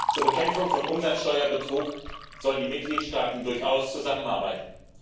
Zur Bekämpfung von Umsatzsteuerbetrug sollen die Mitgliedstaaten durchaus zusammenarbeiten.